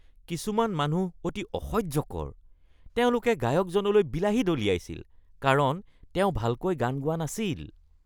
কিছুমান মানুহ অতি অসহ্যকৰ। তেওঁলোকে গায়কজনলৈ বিলাহী দলিয়াইছিল কাৰণ তেওঁ ভালকৈ গান গোৱা নাছিল।